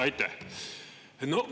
Aitäh!